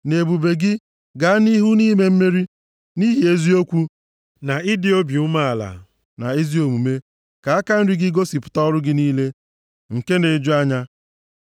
Nʼebube gị, gaa nʼihu nʼime mmeri, nʼihi eziokwu, na ịdị obi umeala, na ezi omume; ka aka nri gị gosipụta ọrụ gị niile nke na-eju anya.